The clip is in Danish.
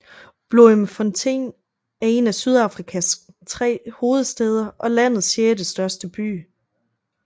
Bloemfontein er en af Sydafrikas tre hovedstæder og landets sjettestørste by